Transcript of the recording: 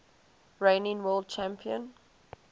reigning world champion